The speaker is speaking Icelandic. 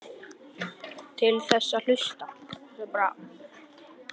Til þess að hlusta.